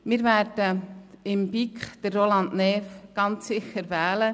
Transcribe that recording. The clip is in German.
Wir werden für die BiK ganz sicher Roland Näf wählen.